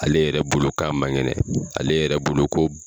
Ale yɛrɛ bolo k'a man kɛnɛ ale yɛrɛ bolo ko